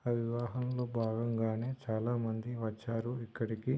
ఆ వివాహనంలొ భాగం గానె చాలా మంది వచ్చారు ఇక్కడికి.